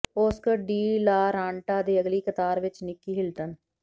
Oscar de la Renta ਦੇ ਅਗਲੀ ਕਤਾਰ ਵਿੱਚ ਨਿੱਕੀ ਹਿਲਟਨ